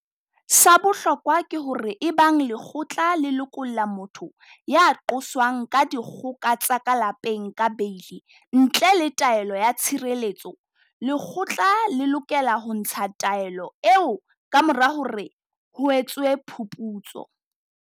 Sa bohlokwa ke hore ebang lekgotla le lokolla motho ya qoswang ka dikgoka tsa ka lapeng ka beili ntle le taelo ya tshireletso, lekgotla le lokela ho ntsha taelo eo kamora hore ho etswe phuputso.